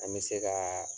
An bɛ se ka